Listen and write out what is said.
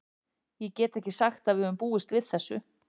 Ég get ekki sagt að við höfum búist við þessu.